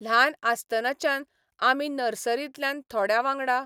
ल्हान आसतनाच्यान, आमी नर्सरींतल्यान थोड्यां वांगडा.